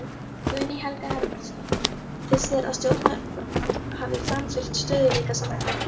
Guðný Helga Herbertsdóttir: Finnst þér að stjórnvöld hafi framfylgt stöðugleikasáttmálanum?